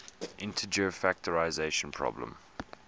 integer factorization problem